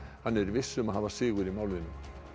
hann er viss um að hafa sigur í málinu